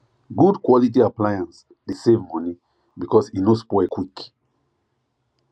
good quality appliance dey save money because e no spoil quick